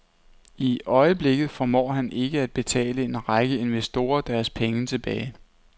I øjeblikket formår han ikke at betale en række investorer deres penge tilbage.